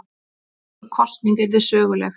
Og sú kosning yrði söguleg.